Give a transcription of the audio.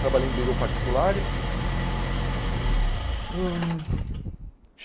trabalhei em particulares. Hum